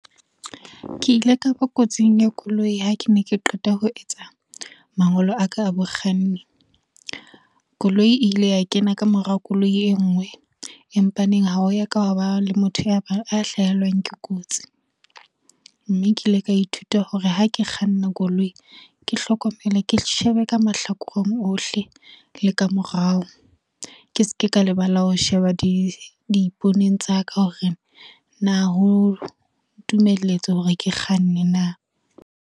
Ke ile kaba kotsing ya koloi ha ke ne ke qeta ho etsa mangolo a ka a bokganni. Koloi e ile ya kena ka morao koloi e ngwe empa neng ha o ya ka wa ba le motho ya hlahelwang ke kotsi, mme ke ile ka ithuta hore ha ke kganna koloi, ke hlokomele, ke shebe ka mahlakoreng ohle le ka morao ke ske ka lebala ho sheba diiponing tsa ka hore na ho ntumelletse hore ke kganne na.